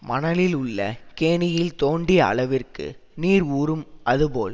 மணலில் உள்ள கேணியில் தோண்டிய அளவிற்க்கு நீர் ஊறும் அதுபோல்